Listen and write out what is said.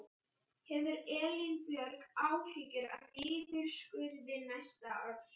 Hefur Elín Björg áhyggjur af niðurskurði næsta árs?